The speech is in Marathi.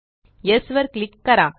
येस वर क्लिक करा